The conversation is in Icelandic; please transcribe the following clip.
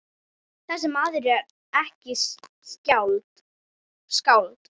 Þessi maður er ekki skáld.